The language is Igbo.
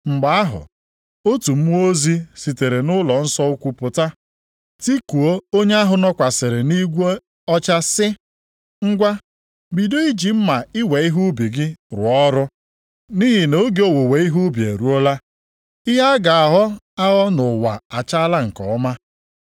Mgbe ahụ, otu mmụọ ozi sitere nʼụlọnsọ ukwu pụta, tikuo onye ahụ nọkwasịrị nʼigwe ọcha sị, “Ngwa, bido iji mma iwe ihe ubi gị rụọ ọrụ, nʼihi na oge owuwe ihe ubi eruola. Ihe a ga-aghọ aghọ nʼụwa achaala nke ọma.”